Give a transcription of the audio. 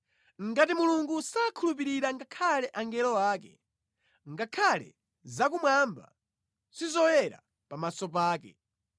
Ngati Mulungu sakhulupirira ngakhale angelo ake, ngakhale zakumwamba sizoyera pamaso pake,